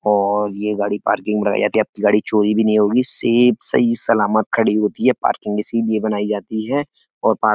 और ये गाड़ी पार्किंग में लगाई जाती है। आपकी गाड़ी चोरी भी नहीं होगी सेफ सही सलामत खड़ी होती है। पार्किंग इसीलिए बनाई जाती है और पार्क --